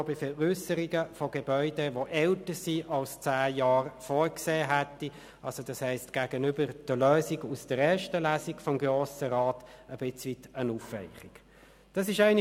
Kommissionspräsident der BaK.Der Grosse Rat hat dieses Gesetz in der Novembersession 2017 in erster Lesung beraten.